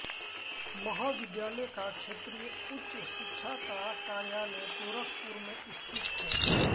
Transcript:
महाविद्यालय का क्षेत्रीय उच्च शिक्षा का कार्यालय गोरखपुर में स्थित है